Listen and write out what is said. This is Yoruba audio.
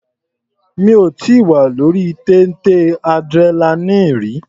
Mi ò tíì wà lórí téńté adrenaline rí.